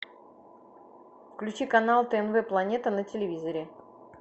включи канал тнв планета на телевизоре